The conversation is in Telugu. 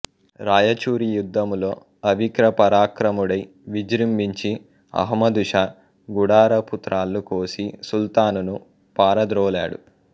రాయచూరి యుద్ధములో అవిక్రపరాక్రముడై విజ్రింభించి అహమ్మదు షా గుడారపు త్రాళ్ళు కోసి సుల్తానును పారద్రోలాడు